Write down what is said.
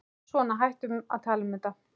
Svona, hættum að tala um þetta.